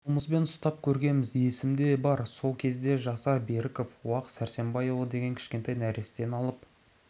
қолымызбен ұстап көргенбіз есімде бар сол кезде жасар беріков уақ сәрсенбайұлы деген кішкентай нәрестені алып